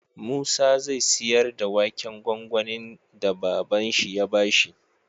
Musa zai siyar da waken gwangwanin da baban shi ya bashi